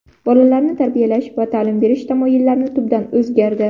Bolalarni tarbiyalash va ta’lim berish tamoyillari tubdan o‘zgardi.